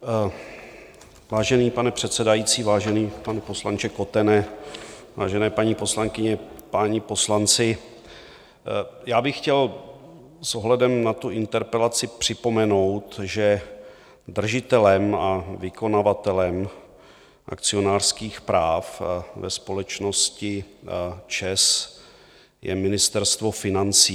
Vážený pane předsedající, vážený pane poslanče Kotene, vážené paní poslankyně, páni poslanci, já bych chtěl s ohledem na tu interpelaci připomenout, že držitelem a vykonavatelem akcionářských práv ve společnosti ČEZ je Ministerstvo financí.